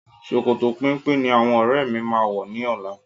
Sòkòtò péńpé ní àwọn ọ́rẹ́ mi máa wọ̀ ní ọlá.